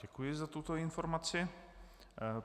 Děkuji za tuto informaci.